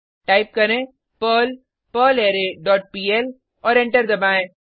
type करें Perl perlre dot pl और enter दबाएँ